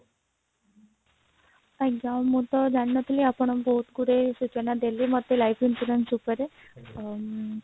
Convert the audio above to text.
ଆଜ୍ଞା ମୁଁ ତ ଜାଣିନଥିଲି ଆପଣ ବହୁତ ଗୁଡେ ସୂଚନା ଦେଲେ ମତେ life insurance ଉପରେ